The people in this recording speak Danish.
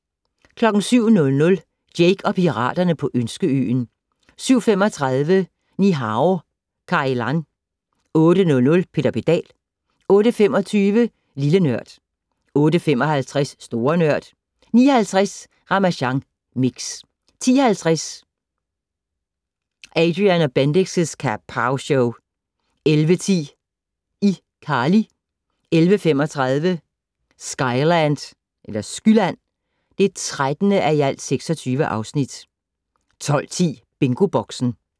07:00: Jake og piraterne på Ønskeøen 07:35: Ni-Hao Kai Lan 08:00: Peter Pedal 08:25: Lille Nørd 08:55: Store Nørd 09:50: Ramasjang Mix 10:50: Adrian & Bendix' Kapowshow 11:10: ICarly 11:35: Skyland (13:26) 12:10: BingoBoxen